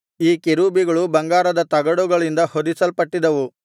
ಈ ಕೆರೂಬಿಗಳು ಬಂಗಾರದ ತಗಡುಗಳಿಂದ ಹೊದಿಸಲ್ಪಟ್ಟಿದ್ದವು